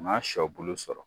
N'a sɔbulu sɔrɔ